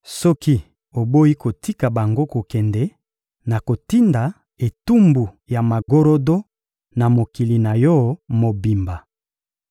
Soki oboyi kotika bango kokende, nakotinda etumbu ya magorodo na mokili na yo mobimba.